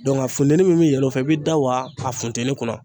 Dɔnku a funteni min be yɛlɛ o fɛ i bi da waa a funtɛni kunna